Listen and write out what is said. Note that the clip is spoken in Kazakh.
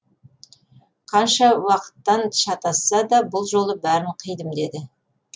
қанша уақыттан шатасса да бұл жолы бәрін қидым деді